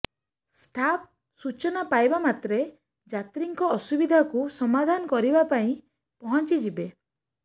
staff ସୂଚନା ପାଇବା ମାତ୍ରେ ଯାତ୍ରୀଙ୍କ ଅସୁବିଧାକୁ ସମାଧାନ କରିବା ପାଇଁ ପହଞ୍ଚିଯିବେ